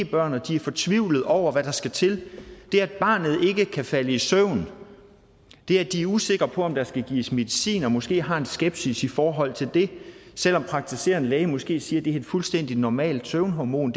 børn og de er fortvivlede over hvad der skal til det at barnet ikke kan falde i søvn det at de er usikre på om der skal gives medicin og måske har en skepsis i forhold til det selv om praktiserende læge måske siger det er et fuldstændig normalt søvnhormon